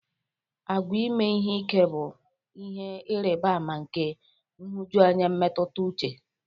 Àgwà ime ihe ike bụ ihe ịrịba ama nke nhụjuanya mmetụta uche.